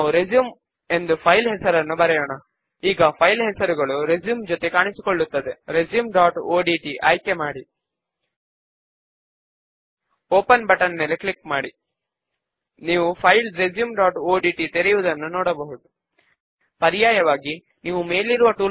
మరియు font style ను Arial గా బోల్డ్ మరియు సైజ్ 12 గా మారుస్తాము అలాగే ఇప్పుడు స్క్రీన్ మీద చూపిన విధముగా ఒక రెండవ లేబుల్ ను యాడ్ చేద్దాము